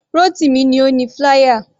Rotimi ni ó ni flier.